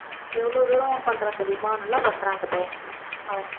எவ்வளவு தூரம் பண்றான் தெரியுமா நல்லா பண்றான் அந்த பையன் அவன்